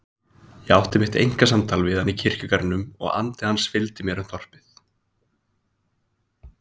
Ég átti mitt einkasamtal við hann í kirkjugarðinum og andi hans fylgdi mér um þorpið.